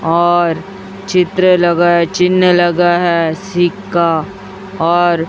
और चित्र लगाए चिन्ह लगा है सिक्का और--